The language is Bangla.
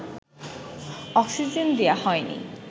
অক্সিজেন দেয়া হয়নি